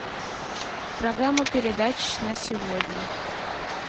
программа передач на сегодня